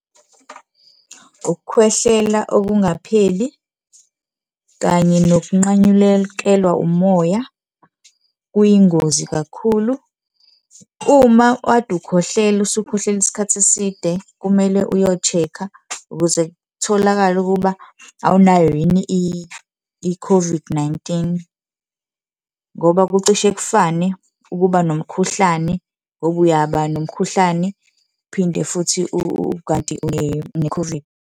Ukukhwehlela okungapheli kanye nokunqanyulekelwa umoya kuyingozi kakhulu. Uma kade ukhohlela, usukhohlela isikhathi eside kumele uyo-check-a ukuze kutholakale ukuba awunayo yini i-COVID-19 ngoba kucishe kufane ukuba nomkhuhlane, ngoba uyaba nomkhuhlane, uphinde futhi , kanti une-COVID.